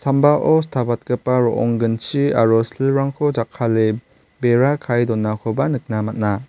imbao stapatgipa ro·ong ginchi aro silrangko jakkale bera kae donakoba nikna man·a.